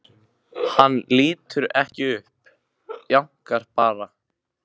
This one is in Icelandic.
Hann lítur ekki upp, jánkar bara.